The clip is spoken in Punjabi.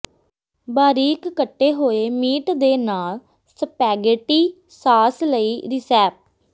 ਬਾਰੀਕ ਕੱਟੇ ਹੋਏ ਮੀਟ ਦੇ ਨਾਲ ਸਪੈਗੇਟੀ ਸਾਸ ਲਈ ਰਿਸੈਪ